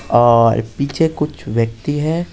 और पीछे कुछ व्यक्ति हैं।